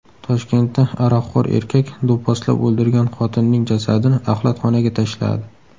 Toshkentda aroqxo‘r erkak do‘pposlab o‘ldirgan xotinining jasadini axlatxonaga tashladi.